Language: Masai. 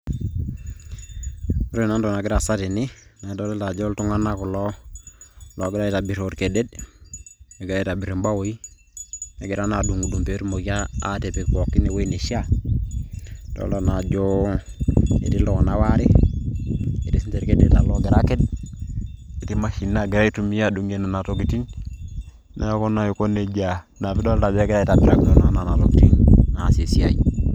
Ore naa entoki nagira aasa tene, nadolta ajo iltung'anak kulo ogira aitobir orkedet, negira aitobir imbawoi, negira naa adung'dung' petumoki atipik pookin ewueji neishaa. Adolta naa ajo etii iltung'anak waare, etii sinche ilkedeta logira aked, etii mashinini nagira aitumia adung'ie nena tokiting'. Neeku naa aiko nejia. Na pidolta ajo egirai aitobirakino nena tokiting' aasie esiai.